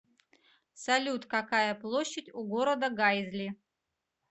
салют какая площадь у города гайзли